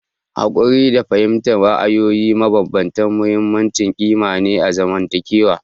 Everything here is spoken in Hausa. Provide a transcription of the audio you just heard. Haƙuri da fahimtar ra'ayoyi mabambanta muhimmin ƙima ne na zamantakewa.